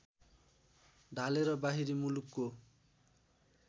ढालेर बाहिरी मुलुकको